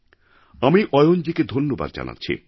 আমি অয়ণজীকে ধন্যবাদ জানাচ্ছি